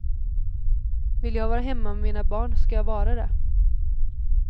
Vill jag vara hemma med mina barn ska jag vara det.